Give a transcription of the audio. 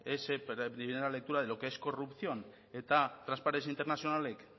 esa primera lectura de lo que es corrupción eta transparency internationalek